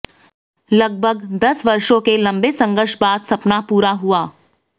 लगभग दस वर्षों के लंबे संघर्ष बाद सपना पूरा हुआ